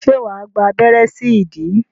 Ṣé wà á gba abẹ́rẹ́ sí ìdí?